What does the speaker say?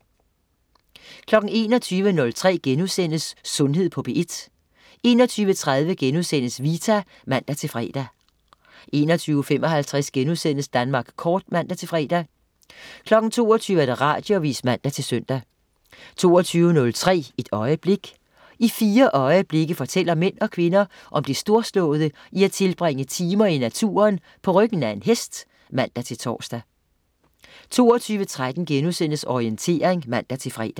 21.03 Sundhed på P1* 21.30 Vita* (man-fre) 21.55 Danmark kort* (man-fre) 22.00 Radioavis (man-søn) 22.03 Et øjeblik. I fire øjeblikke fortæller mænd og kvinder om det storslåede i at tilbringe timer i naturen på ryggen af en hest (man-tors) 22.13 Orientering* (man-fre)